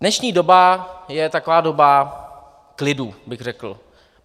Dnešní doba je taková doba klidu, bych řekl.